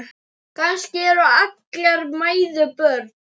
Kannski eru allar mæður börn.